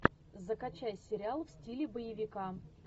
закачай сериал в стиле боевика